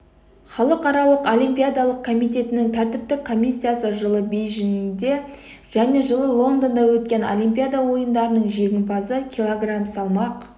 халықаралық олимпиадалық комитетінің тәртіптік комиссиясы жылы бейжіңде және жылы лондонда өткен олимпиада ойындарының жеңімпазы кг салмақ